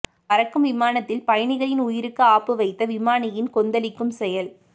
பறக்கும் விமானத்தில் பயணிகளின் உயிருக்கு ஆப்பு வைத்த விமானியின் கொந்தளிக்கும் செயல்